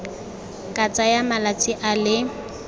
ka tsaya malatsi a le